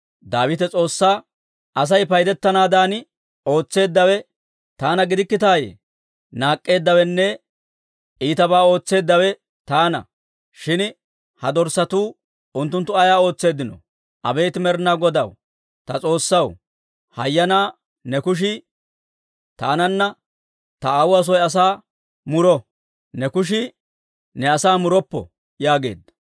Daawite S'oossaa, «Asay paydettanaadan ootseeddawe taana gidikkitaayye? Naak'k'eeddawenne iitabaa ootseeddawe taana. Shin ha dorssatuu, unttunttu ayaa ootseeddino? Abeet Med'inaa Godaa, ta S'oossaw, hayyanaa ne kushii taananne ta aawuwaa soy asaa muro. Ne kushii ne asaa muroppo!» yaageedda.